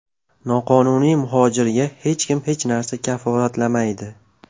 Noqonuniy muhojirga hech kim hech narsani kafolatlamaydi.